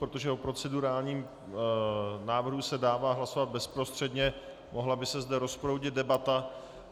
Protože o procedurálním návrhu se dává hlasovat bezprostředně, mohla by se zde rozproudit debata.